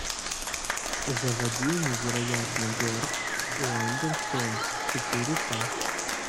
заводи невероятный берт уандерстоун четыре ка